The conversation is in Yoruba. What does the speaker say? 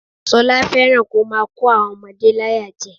Ṣọlá fẹ́ràn kó máa kó àwọn ọmọdé láyàjẹ